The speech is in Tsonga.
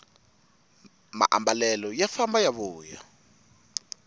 maambalelo ya famba ya vuya